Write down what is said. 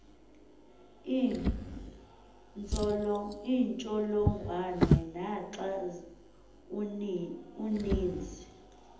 iintsholongwane naxa uninzi